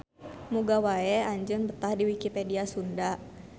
Muga wae anjeun betah di Wikipedia Sunda.